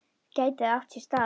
Gæti það átt sér stað?